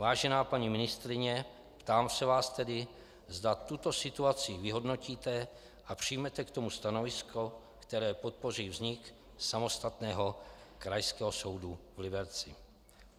Vážená paní ministryně, ptám se vás tedy, zda tuto situaci vyhodnotíte a přijmete k tomu stanovisko, které podpoří vznik samostatného Krajského soudu v Liberci.